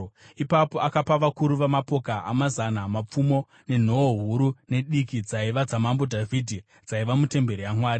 Ipapo akapa vakuru vamapoka amazana mapfumo nenhoo huru nediki dzaiva dzaMambo Dhavhidhi dzaiva mutemberi yaMwari.